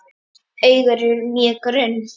Augun eru mjög grunn.